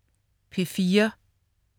P4: